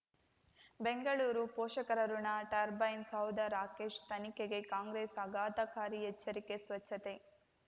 ಬೆಂಗಳೂರು ಪೋಷಕರಋಣ ಟರ್ಬೈನ್ ಸೌಧ ರಾಕೇಶ್ ತನಿಖೆಗೆ ಕಾಂಗ್ರೆಸ್ ಆಘಾತಕಾರಿ ಎಚ್ಚರಿಕೆ ಸ್ವಚ್ಛತೆ